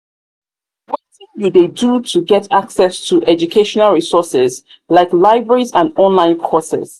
wetin you dey do to get access to educational resources like libraries and online courses?